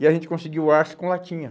E a gente conseguiu arço com latinha.